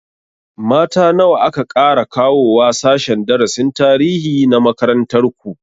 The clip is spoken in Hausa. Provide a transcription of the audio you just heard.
Mata nawa aka ƙara kawowa sashen darasin tarihi na makarantar ku?